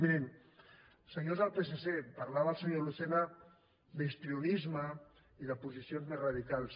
mirin senyors del psc parlava el senyor lucena d’histrionisme i de posicions més radicals